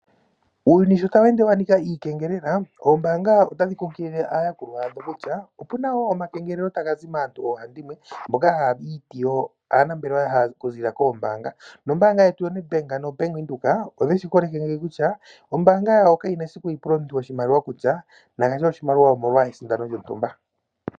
Uuyuni sho tawu ende wa nika iikengelela, oombanga otadhi kunkilile aayakulwa yadho kutya opu na wo omakengelelo taga zi maantu ohaandimwe, mboka haya i ti yo aanambelewa okuziilila koombaanga. Nombaanga yetu yoNedbank noBank Windhoek odhe shi koleke ngeyi kutya oombaanga dhawo kadhi na esiku dhi pule omuntu oshimaliwa kutya na gandje oshimaliwa omolwa esindano lyontumba.